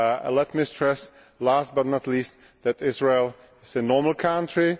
Let me stress, last but not least, that Israel is a normal country